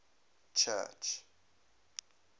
church